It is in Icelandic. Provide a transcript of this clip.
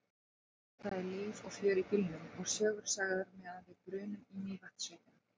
Það er líf og fjör í bílnum og sögur sagðar meðan við brunum í Mývatnssveitina.